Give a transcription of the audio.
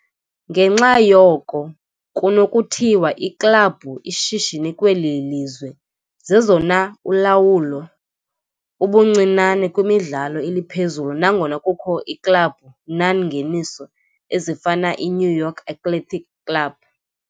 Ngenxa yoko, kunokuthiwa iiklabhu ishishini kweli lizwe zezona ulawulo, ubuncinane kwimidlalo eliphezulu, nangona kukho iiklabhu non-ngeniso, ezifana i New York Athletic Club.